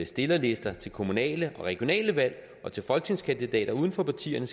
stillerlister til kommunale og regionale valg og til folketingskandidater uden for partierne